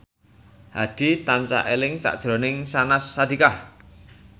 Hadi tansah eling sakjroning Syahnaz Sadiqah